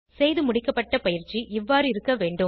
செய்துமுடிக்கப்பட்ட பயிற்சி இவ்வாறு இருக்க வேண்டும்